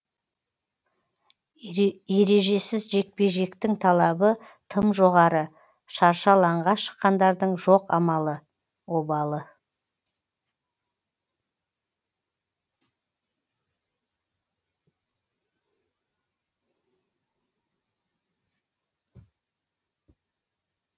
ережесіз жекпе жектің талабы тым жоғары шаршы алаңға шыққандардың жоқ амалы обалы